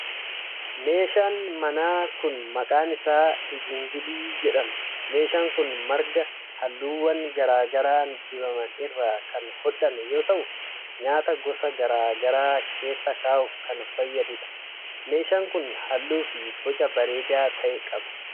Meeshaan manaa kun maqaan isaa, igingilii jedhama. Meeshaan kun marga halluuwwan garaa garaa dibaman irraa kan hodhame yoo ta'u, nyaata gosa garaa garaa keessa kaa'uuf kan fayyaduu dha. Meeshaan kun, halluu fi boca bareedaa ta'e qaba.